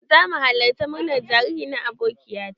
Za mu halarci murnar jariri na abokiya ta.